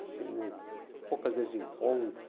Assim, poucas vezes eu encontro.